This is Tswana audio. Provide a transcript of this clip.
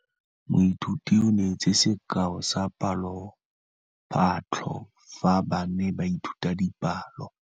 Moithuti o neetse sekaô sa palophatlo fa ba ne ba ithuta dipalo.